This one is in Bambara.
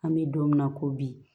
An bɛ don min na ko bi